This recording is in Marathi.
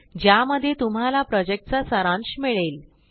ज्यामध्ये तुम्हाला प्रॉजेक्टचा सारांश मिळेल